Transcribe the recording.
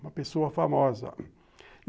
Uma pessoa famosa.